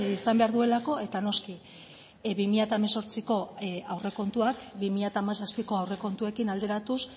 izan behar duelako eta noski bi mila hemezortziko aurrekontuak bi mila hamazazpiko aurrekontuekin alderatuz